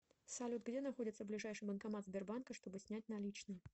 салют где находится ближайший банкомат сбербанка чтобы снять наличные